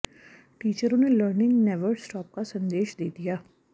टीचरों ने learning never stop का संदेश दे दिया